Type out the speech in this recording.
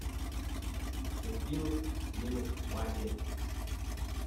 закинуть денег папе